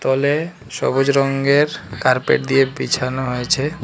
হল এ সবুজ রঙ্গের কার্পেট দিয়ে বিছানো হয়েছে।